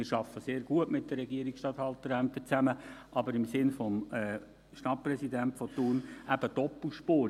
Wir arbeiten sehr gut mit den Regierungsstatthalterämtern zusammen, aber im Sinne dessen, was der Stadtpräsident von Thun gesagt hat, doppelspurig.